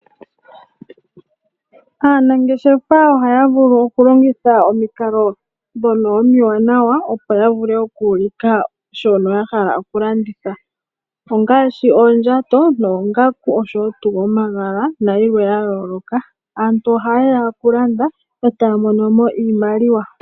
Aanangeshefa ohaya vulu okulongitha omikalo dhono omiwanawa oo ya vule oku ulika shono a hala okulanditha. Ongaashi oondjato, oongaku noshowo omagala nayilwe ya yooloka. Aantu ohaye ya okulanda e taya mono mo iimaliwa.